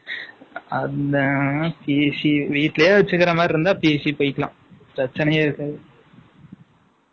அந்த வீட்டிலேயே வச்சிருக்கிற மாதிரி இருந்தா, பேசி போயிக்கலாம். பிரச்சனையே இருக்காது